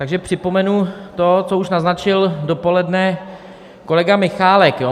Takže připomenu to, co už naznačil dopoledne kolega Michálek.